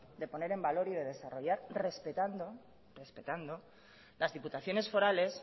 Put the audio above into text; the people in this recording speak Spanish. de poner en valor y de desarrollar respetando las diputaciones forales